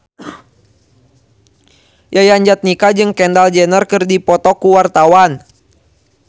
Yayan Jatnika jeung Kendall Jenner keur dipoto ku wartawan